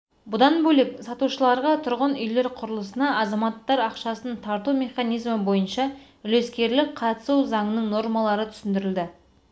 бұдан бөлек салушыларға тұрғын үйлер құрылысына азаматтар ақшасын тарту механизмі бойынша үлескерлік қатысу заңының нормалары түсіндірілді